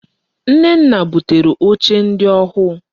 Nnenna butere oche ndi ohuu.